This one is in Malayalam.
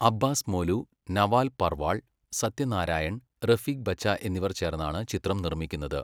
അബ്ബാസ് മോലൂ, നവാൽ പർവാൾ, സത്യ നാരായണൻ, റഫീഖ് ബച്ച എന്നിവർ ചേർന്നാണ് ചിത്രം നിർമ്മിക്കുന്നത്.